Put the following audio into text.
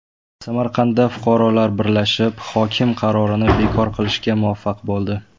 Samarqandda fuqarolar birlashib hokim qarorini bekor qilishga muvaffaq bo‘ldi.